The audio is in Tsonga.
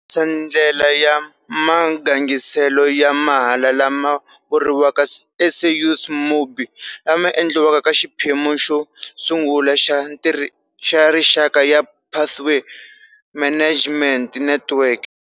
Ku tirhisa ndlela ya magangiselo ya mahala lama vuriwaka SAYouth.mobi, lama endla ka xiphemu xosungula xa rixaka ya Pathway Management Network.